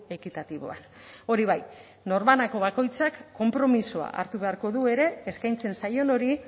ekitatiboan hori bai norbanako bakoitzak konpromisoa hartu beharko du ere eskaintzen zaion hori